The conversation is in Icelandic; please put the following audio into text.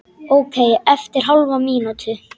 Ókei eftir hálfa mínútu.